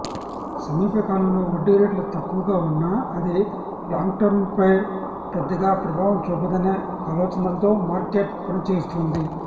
సమీప కాలంలో వడ్డీ రేట్లు తక్కువగా ఉన్నా అది లాంగ్టెర్మ్పై పెద్దగా ప్రభావం చూపదనే ఆలోచనలతో మార్కెట్ పనిచేస్తోంది